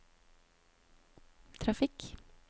trafikk